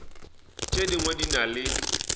tše dingwe di na le